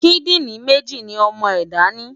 Kídìrín méjì ni ọmọ ẹ̀dá ni.